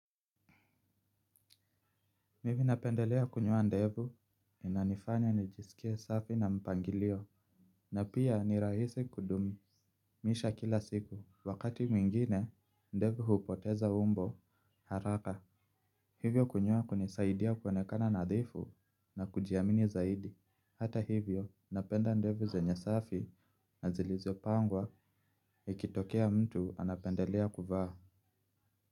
Mimi napendelea kunyoa ndevu inanifanya nijisikie safi na mpangilio na pia nirahisi kudumisha kila siku wakati mwingine ndevu hupoteza umbo haraka hivyo kunyoa kunisaidia kuonekana nadhifu na kujiamini zaidi hata hivyo napenda ndevu zenye safi na zilizopangwa ikitokea mtu anapendelea kuvaa.